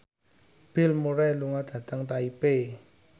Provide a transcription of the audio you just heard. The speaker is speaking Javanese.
Bill Murray lunga dhateng Taipei